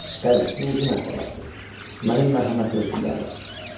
Qərəz bu uzun əhvalatdır, mənim mərhəmətli hökmdarım.